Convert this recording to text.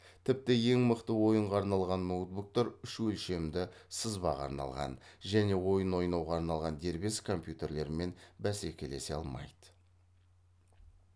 тіпті ең мықты ойынға арналған ноутбуктар үш өлшемді сызбаға арналған және ойын ойнауға арналған дербес компьютерлермен бәсәкелесе алмайды